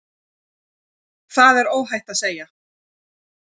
Það er óhætt að segja.